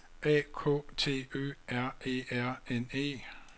A K T Ø R E R N E